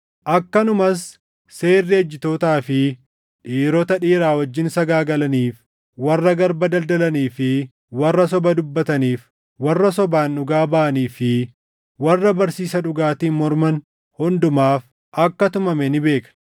akkanumas seerri ejjitootaa fi dhiirota dhiira wajjin sagaagalaniif, warra garba daldalanii fi warra soba dubbataniif, warra sobaan dhugaa baʼanii fi warra barsiisa dhugaatiin morman hundumaaf akka tumame ni beekna;